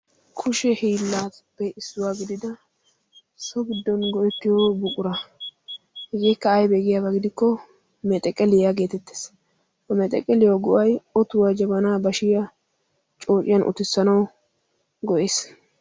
kushe hiillaappe issuwaa gidida sobiddon go7ekkiyo buqura hegeekka aibeegiyaabaa gidikko meexaqeliyaa geetettees omeexeqeliya gu7ai otuwaa jabanaa bashiya coociyan utissanau go7ees.